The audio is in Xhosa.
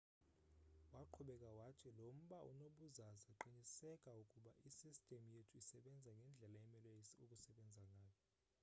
waqhubeka wathi lo mba unobuzaza qiniseka ukuba isistim yethu isbenza ngendlela emele ukusebenza ngayo